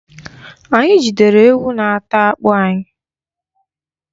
Anyị jidere ewu na-ata akpụ anyị.